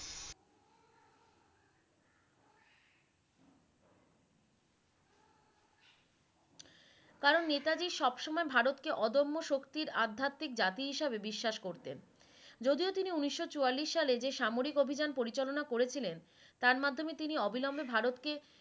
কারন নেতাজী সবসময় ভারতকে অদম্য শক্তির আধ্যাত্মিক জাতি হিসেবে বিশ্বাস করতেন । যদিও তিনি উন্নিশ চুয়াল্লিশ সালে সামরিক অভিযান পরিচালনা করেছিলেন তার মাধ্যমে তিনি অবিলম্বে ভারতকে